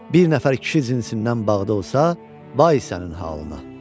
Bir nəfər kişi cinsindən bağda olsa, vay sənin halına!